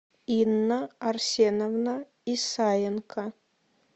инна арсеновна исаенко